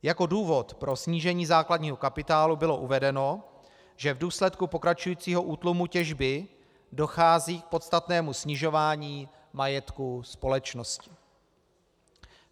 Jako důvod pro snížení základního kapitálu bylo uvedeno, že v důsledku pokračujícího útlumu těžby dochází k podstatnému snižování majetku společnosti.